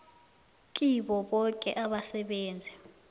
kibo boke abasebenzi